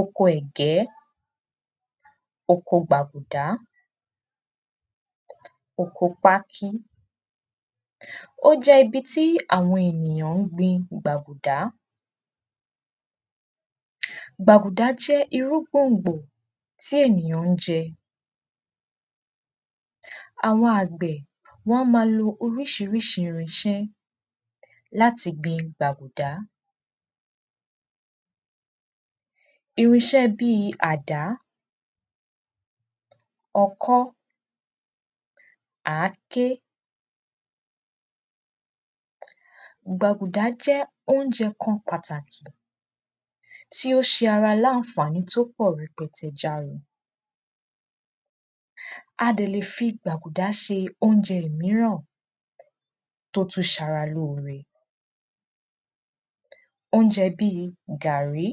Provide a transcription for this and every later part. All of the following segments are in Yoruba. oko ẹ̀gbẹ́, oko gbàgùdá, oko pákí ójẹ́ ibi ti àwọn ènìyàn ń gbin gbàgùdá gbàgùdá jẹ́ irú gbòngbòn tí ènìyàn ń jẹ àwọn àgbẹ̀ wọ́n maa lo orisirisi irinsẹ́ láti gbin gbàgùdá irinsẹ́ bíi àdá, ọkọ́, ǎké gbàgùdá jé óúnje kan pàtàkì tí ó se ara n ànfàní tí ó pọ̀ rẹpẹtẹ járin a dẹ̀ le fi gbàgùdá se óunje míràn tó tuń se ara lóre óúnjẹ bíi gààrí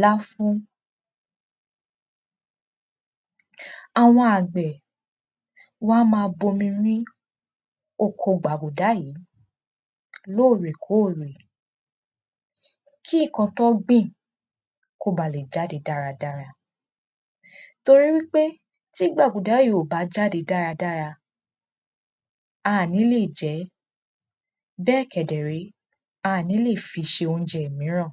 láfún àwọn àgbè, wón a máa bomi rin oko gbàgùdá yìí lórè-kórè, kí ǹkan tí wọ́n gbìn, kí ó bî le jáde dáradára torí wípé tí gbàgùdá yẹn ò bá jáde dáradára aàní lè je, bèe kedere, aàní lè fí sé óunjẹ míràn